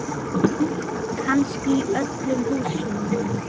Kannski í öllu húsinu.